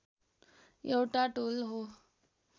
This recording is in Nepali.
एउटा टोल हो